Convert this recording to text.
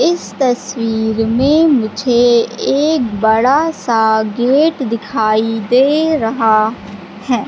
इस तस्वीर में मुझे एक बड़ा सा गेट दिखाई दे रहा है।